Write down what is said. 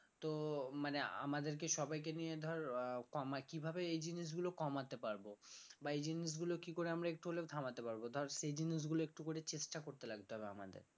তো মানে আমাদেরকে সবাইকে নিয়ে ধর আহ কমায় কিভাবে এ জিনিসগুলো কমাতে পারবো বা এই জিনিসগুলো কি করে আমরা একটু হলেও থামাতে পারবো ধর সে জিনিসগুলো একটু করে চেষ্টা করতে লাগবে আমাদের